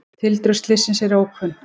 Tildrög slyssins eru ókunn.